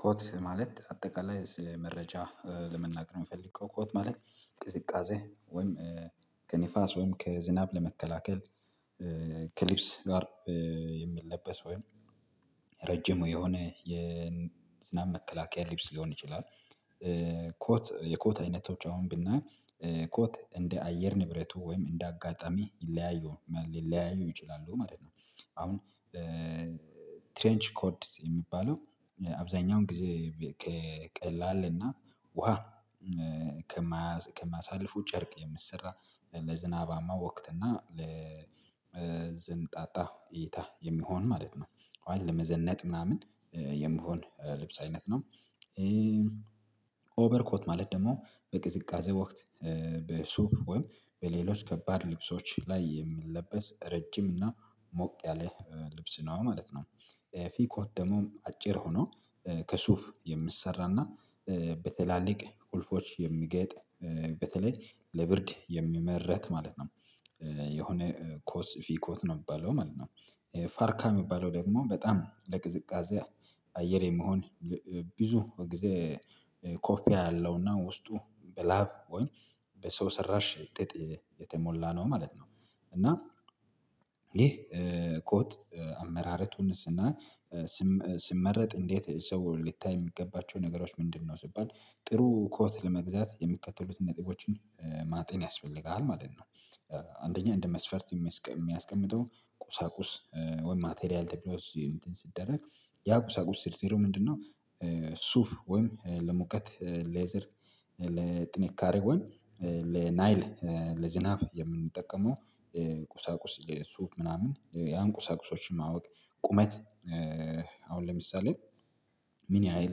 ኮት ማለት አጠቃላይ መረጃ ለመናገር የምፈልገው ኮት ማለት ቅዝቃዜ ወይም ከንፋስ ወይም ከዝናብ ለመከላከል ክሊፕስ ጋር የሚለበስ ወይም ረጅም የሆነ የዝናብ መከላከያ ሊብስ ሊሆን ይችላል። ኮት የኮት አይነቶች አሁን ብናይ ኮት እንደ አየር ንብረቱ ወይም እንደ አጋጣሚ ይለያዩ ሊለያዩ ይችላሉ ማለት ነው። አሁን ትሬንች ኮድስ የሚባለው አብዛኛውን ጊዜ ከቀላልና ውሃ ከማሳልፉ ጨርቅ የሚሰራ ለዝናባማ ወቅት እና ለዝንጣጣ እይታ የሚሆን ማለት ነው። አሁን ለመዘነጥ ምናምን የመሆን ልብስ አይነት ነው። ኦቨርኮት ማለት ደግሞ በቅዝቃዜ ወቅት በሱብ ወይም በሌሎች ከባድ ልብሶች ላይ የምንለበስ ረጅም እና ሞቅ ያለ ልብስ ነው ማለት ነው። ኤፊ ኮት ደግሞም አጭር ሆኖ ከሱፍ የምትሰራና በትላልቅ ቁልፎች የሚገጥ በተለይ ለብርድ የሚመረት ማለት ነው። የሆነ ኮስ ፊኮት ነው የሚባለው ማለት ነው። ፋርካ የሚባለው ደግሞ በጣም ለቅዝቃዜ አየር የሚሆን ብዙ ጊዜ ኮፊ አለውና ውስጡ በላብ ወይ በሰው ሰራሽ ጥጥ የተሞላ ነው ማለት ነው። እና ይህ ኮት አመራረቱንስ እና ስም ስመረጥ እንዴት ሰው ልታይ የሚገባቸው ነገሮች ምንድነው? ሲባል ጥሩ ኮት ለመግዛት የሚከተሉትን ነጥቦችን ማተን ያስፈልጋል ማለት ነው። አንደኛ እንደ መስፈርት የሚያስቀምጠው ቁሳቁስ ወይም ማቴሪያል ተብሎ እንትን ሲደረግ ያቁሳቁስ ስር ስሩ ምንድነው? ሱፍ ወይም ለሙቀት ሌዘር ለጥንቃሬ ወይም ለናይል ለዝናብ የምንጠቀመው ቁሳቁስ የሱፍ ምናምን ያን ቁሳቁሶችን ማወቅ ቁመት አሁን ለምሳሌ ምን ያህል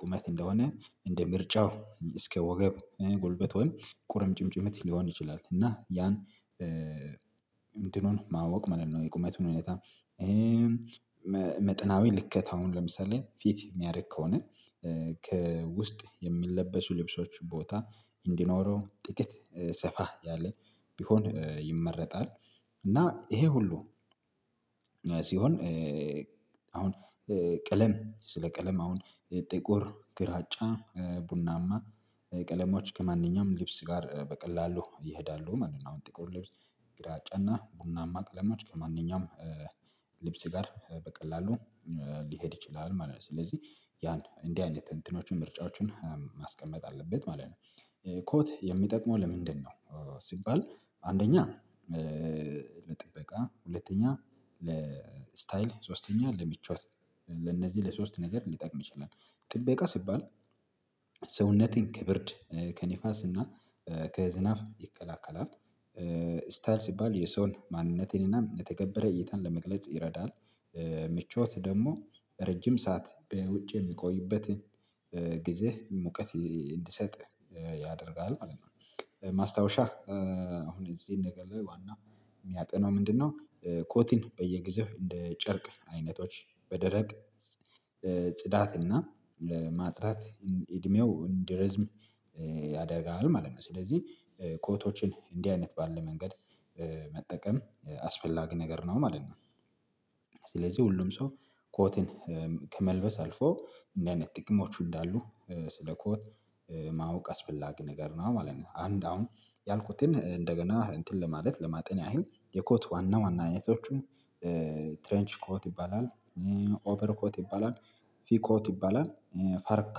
ቁመት እንደሆነ እንደ ምርጫው እስከ ወገብ ጉልበት ወይም ቁርምጭምጭሚት ሊሆን ይችላል። እና ያን እንትኑን ማወቅ ማለት ነው። የቁመቱን እውነታ መጠናዊ ልኬታውን ለምሳሌ ፊት የሚያደርግ ከሆነ ከውስጥ የሚለበሱ ልብሶች ቦታ እንዲኖረው ጥቂት ሰፋ ያለ ቢሆን ይመረጣል። እና ይሄ ሁሉ ሲሆን አሁን ቀለም ስለ ቀለም አሁን ጥቁር ግራጫ ቡናማ ቀለሞች ከማንኛውም ልብስ ጋር በቀላሉ ይሄዳሉ። ማንኛውም ጥቁር ልብስ ግራጫና ቡናማ ቀለማች ከማንኛውም ልብስ ጋር በቀላሉ ሊሄድ ይችላል ማለት ነው። ስለዚህ ያን እንዲህ አይነት እትንትኖችን ምርጫዎችን ማስቀመጥ አለበት ማለት ነው። ኮት የሚጠቅመው ለምንድነው? ሲባል አንደኛ ለጥበቃ ሁለተኛ ለስታይል ሶስተኛ ለምቾት ለነዚህ ለሶስት ነገር ሊጠቅም ይችላል። ጥበቃ ሲባል ሰውነትን ከብርድ ከንፋስና ከዝናብ ይከላከላል። ስታይል ሲባል የሰውን ማንነቴንና የተከበረ እይታን ለመግለጽ ይረዳል። ምቾት ደግሞ ረጅም ሰዓት በውጭ የሚቆይበትን ጊዜ ሙቀት እንዲሰጥ ያደርጋል ማለት ነው። ማስታወሻ አሁን እዚህን ነገር ላይ ዋናው የሚያጠናው ምንድነው? ኮቲን በየጊዜው እንደ ጨርቅ አይነቶች በደረቅ ጽዳት እና ለማጥራት እድሜው እንዲህ ርዝም ያደርጋል ማለት ነው። ስለዚህ እንዲህ አይነት ባለ መንገድ መጠቀም አስፈላጊ ነገር ነው ማለት ነው። ስለዚህ ሁሉም ሰው ኮትን ከመልበስ አልፎ እንዲህ አይነት ጥቅሞቹ እንዳሉ ስለ ኮት ማወቅ አስፈላጊ ነገር ነው ማለት ነው። አንድ አሁን ያልኩትን እንደገና እንትን ለማለት ለማጤን ያህል የኮት ዋና ዋና አይነቶቹም ትሬንች ኮት ይባላል ኦቨር ኮት ይባላል ፊ ኮት ይባላል ፈርካ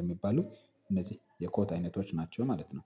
የሚባሉ እነዚህ የኮት አይነቶች ናቸው። ማለት ነው።